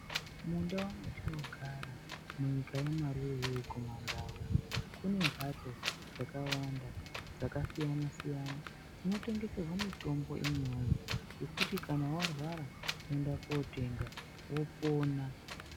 Mundau mwetinogara muchinyika yamarurewe kumandau kune mphatso dzakawanda dzasiyana siyana dzinotengeserwa mitombo imwiwoye, dzekuti kana warwara unoenda kotenga mitombo wopona.